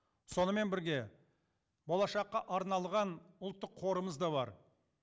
сонымен бірге болашаққа арналған ұлттық қорымыз да бар